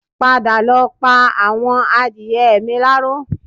Padà lọ pa àwọn àdìrẹ mi láró